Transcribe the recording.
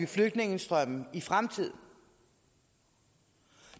flygtningestrømme i fremtiden